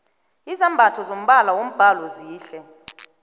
izambatho zombala wombhalo zihle